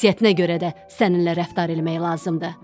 Xasiyyətinə görə də səninlə rəftar eləmək lazımdır.”